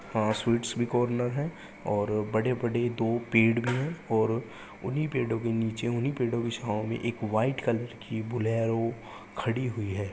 हाँ स्वीट्स भी कॉर्नर है और बड़े-बड़े दो पेड़ भी हैं और उन्हीं पेड़ो के नीचे उन्हीं पेड़ो के छांव में एक वाइट कलर की बोलेरो खड़ी हुई है।